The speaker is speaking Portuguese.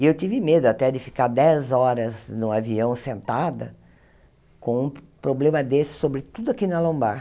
E eu tive medo até de ficar dez horas no avião, sentada, com um problema desse, sobretudo aqui na lombar.